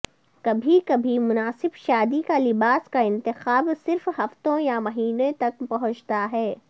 کبھی کبھی مناسب شادی کا لباس کا انتخاب صرف ہفتوں یا مہینے تک پہنچتا ہے